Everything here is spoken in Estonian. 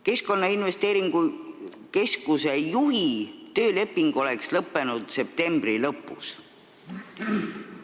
Keskkonnainvesteeringute Keskuse juhi tööleping oleks lõppenud septembri lõpus.